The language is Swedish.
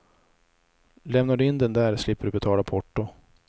Lämnar du in den där slipper du betala porto.